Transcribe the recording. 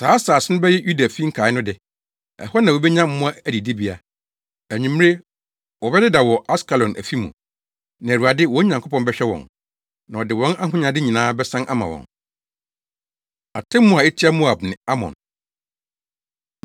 Saa asase no bɛyɛ Yudafi nkae no de; ɛhɔ na wobenya mmoa adidibea. Anwummere, wɔbɛdeda wɔ Askelon afi mu. Na Awurade, wɔn Nyankopɔn bɛhwɛ wɔn, na ɔde wɔn ahonyade nyinaa bɛsan ama wɔn. Atemmu A Etia Moab Ne Amon